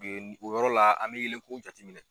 o yɔrɔ la an bɛ yelenko jateminɛ.